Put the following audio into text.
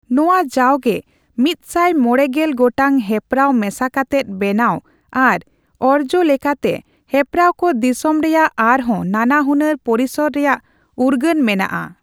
ᱱᱚᱣᱟ ᱡᱟᱣᱜᱮ ᱢᱤᱛᱥᱟᱭ ᱢᱚᱲᱮ ᱜᱮᱞ ᱜᱚᱴᱟᱝ ᱦᱮᱯᱨᱟᱣ ᱢᱮᱥᱟ ᱠᱟᱛᱮᱜ ᱵᱮᱱᱟᱣ ᱟᱨ ᱚᱨᱡᱚ ᱞᱮᱠᱟᱛᱮ, ᱦᱮᱯᱨᱟᱣ ᱠᱚ ᱫᱤᱥᱚᱢ ᱨᱮᱭᱟᱜ ᱟᱨᱦᱚᱸ ᱱᱟᱱᱟ ᱦᱩᱱᱟᱹᱨ ᱯᱚᱨᱤᱥᱚᱨ ᱨᱮᱭᱟᱜ ᱩᱨᱜᱟᱹᱱ ᱢᱮᱱᱟᱜᱼᱟ ᱾